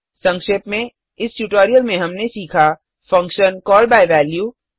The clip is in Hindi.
संक्षेप में इस ट्यूटोरियल में हमने सीखा फंक्शन कॉल बाय वैल्यू